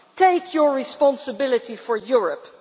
Take your responsibility for Europe.